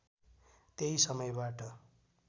त्यही समयबाट